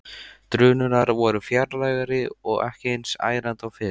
Drunurnar voru fjarlægari og ekki eins ærandi og fyrr.